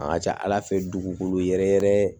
A ka ca ala fɛ dugukolo yɛrɛ yɛrɛ